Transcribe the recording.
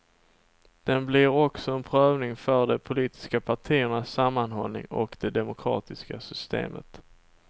Den blir också en prövning för de politiska partiernas sammanhållning och det demokratiska systemet.